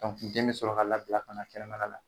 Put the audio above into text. den mi sɔrɔ ka labila kana kɛnɛma la